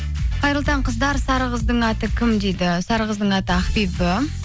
қайырлы таң қыздар сары қыздың аты кім дейді сары қыздың аты ақбибі